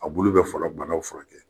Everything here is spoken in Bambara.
A bulu bɛ fɔlɔ banaw furakɛ